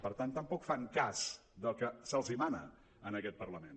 per tant tampoc fan cas del que se’ls mana en aquest parlament